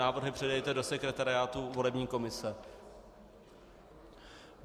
Návrhy předejte do sekretariátu volební komise.